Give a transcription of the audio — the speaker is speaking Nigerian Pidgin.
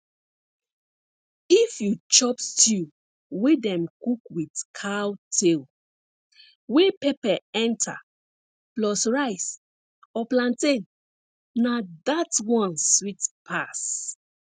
if you chop stew wey dem cook with cow tail wey pepper enter plus rice or plantain na dat one sweet pass